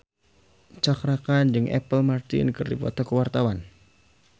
Cakra Khan jeung Apple Martin keur dipoto ku wartawan